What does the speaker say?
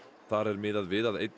þar er miðað við að einn